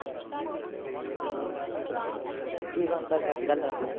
ਕੀ ਬਣਦਾ ਫਿਰ ਅਜ ਕਲ?